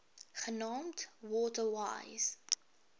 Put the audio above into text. genaamd water wise